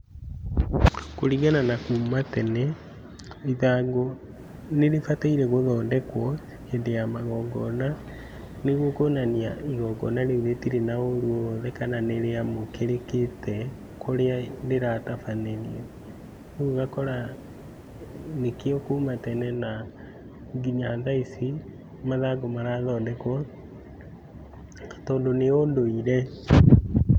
Kũringana na kuma tene, ithangũ nĩrĩbataire gũthondekwo hĩndĩ ya magongona, nĩguo kũonania igongona rĩu rĩtirĩ na ũru o wothe kana nĩrĩamũkĩrĩkĩte kũrĩa rĩratabanĩrio, rĩu ũgakora nĩkĩo kũma tene nginya tha ici mathangũ marathondekwo, tondũ nĩ ũndũire.